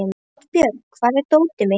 Oddbjörg, hvar er dótið mitt?